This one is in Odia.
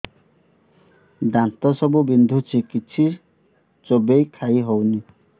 ଦାନ୍ତ ସବୁ ବିନ୍ଧୁଛି କିଛି ଚୋବେଇ ଖାଇ ହଉନି